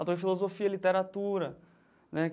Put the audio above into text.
Autor de filosofia e literatura, né?